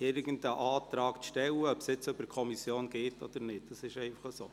irgendeinen Antrag zu stellen, ob dieser nun über die Kommission geht oder nicht – das ist einfach so.